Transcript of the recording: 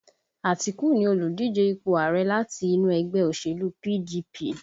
Atiku ni oludije ipò ààrẹ̀ láti inú ẹgbẹ́ òṣèlú PDP